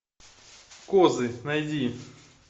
козы найди